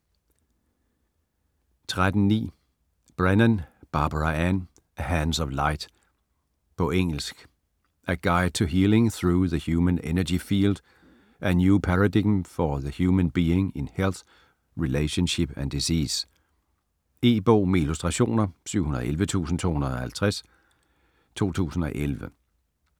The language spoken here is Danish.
13.9 Brennan, Barbara Ann: Hands of light På engelsk. A guide to healing through the human energy field: a new paradigm for the human being in health, relationship, and disease. E-bog med illustrationer 711250 2011.